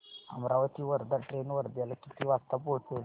Amravati Wardha train वर्ध्याला किती वाजता पोहचेल